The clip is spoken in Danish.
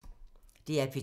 DR P2